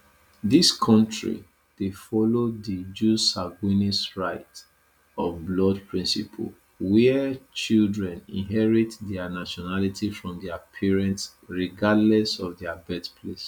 these kontri dey follow di jus sanguinis right of blood principle wia children inherit dia nationality from dia parents regardless of dia birthplace